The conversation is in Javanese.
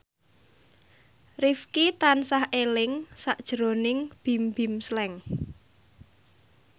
Rifqi tansah eling sakjroning Bimbim Slank